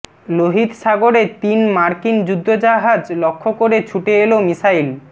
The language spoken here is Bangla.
লোহিত সাগরে তিন মার্কিন যুদ্ধজাহাজ লক্ষ্য করে ছুটে এল মিসাইল